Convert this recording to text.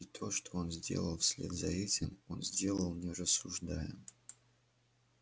и то что он сделал вслед за этим он сделал не рассуждая